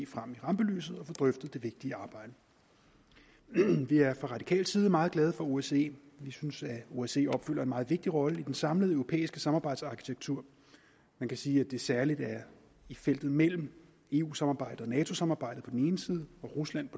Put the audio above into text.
frem i rampelyset og få drøftet det vigtige arbejde vi er fra radikal side meget glade for osce vi synes at osce opfylder en meget vigtig rolle i den samlede europæiske samarbejdsarkitektur man kan sige at der særlig i feltet mellem eu samarbejdet og nato samarbejdet på den ene side og rusland